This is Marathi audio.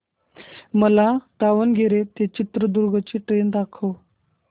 मला दावणगेरे ते चित्रदुर्ग ची ट्रेन दाखव